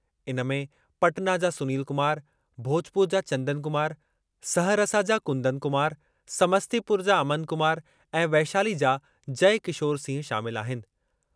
इन में पटना जा सुनील कुमार, भोजपुर जा चंदन कुमार, सहरसा जा कुंदन कुमार, समस्तीपुर जा अमन कुमार ऐं वैशाली जा जयकिशोर सिंह शामिल आहिनि।